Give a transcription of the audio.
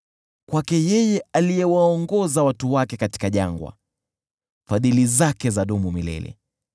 Kwake yeye aliyewaongoza watu wake katika jangwa, Fadhili zake zadumu milele .